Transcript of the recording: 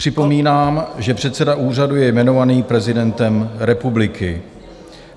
Připomínám, že předseda úřadu je jmenován prezidentem republiky.